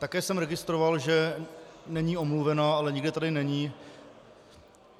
Také jsem registroval, že není omluvena, ale nikde tady není.